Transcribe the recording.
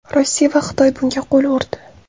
Rossiya va Xitoy bunga qo‘l urdi.